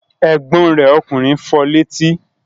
Ẹ̀gbọ́n rẹ̀ ọkùnrin fọ létí?